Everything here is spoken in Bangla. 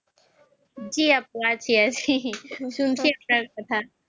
জি আপ্পু